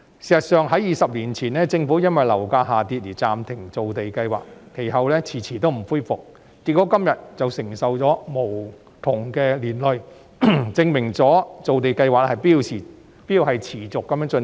事實上，政府在20年前因為樓價下跌而暫停造地計劃，其後遲遲未恢復，結果今天便因而承受無窮的苦果，證明造地計劃必須持續進行。